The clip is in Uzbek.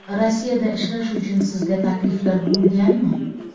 Rossiyada ishlash uchun sizga takliflar bo‘lganmi?